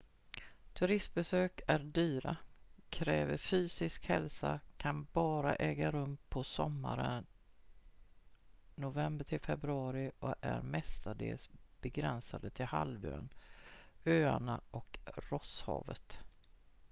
turistbesök är dyra kräver fysisk hälsa kan bara äga rum på sommaren nov-feb och är mestadels begränsade till halvön öarna och rosshavet